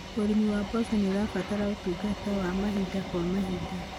ũrĩmi wa mboco nĩ ũrabatara ũtungata wa mahinda kwa mahinda.